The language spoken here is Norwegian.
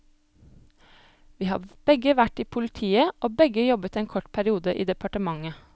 Vi har begge vært i politiet og begge jobbet en kort periode i departementet.